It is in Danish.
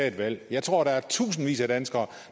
et valg jeg tror der er tusindvis af danskere